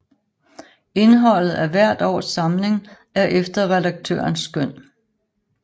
Indholdet af hvert års samling er efter redaktørens skøn